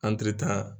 Antiri ta